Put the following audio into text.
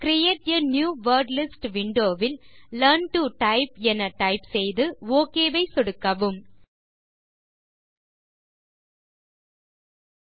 create a new wordlist window will learn to type என type செய்து okay வை சொடுக்கலாம்